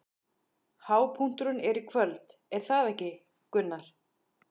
Hápunkturinn er í kvöld, er það ekki, Gunnar?